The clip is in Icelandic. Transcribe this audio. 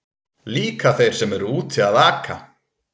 Líka þeir sem eru úti að aka.